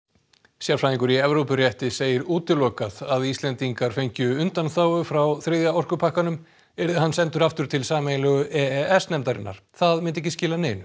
sérfræðingur í Evrópurétti segir útilokað að Íslendingar fengju undanþágu frá þriðja orkupakkanum yrði hann sendur aftur til sameiginlegu e s nefndarinnar það myndi ekki skila neinu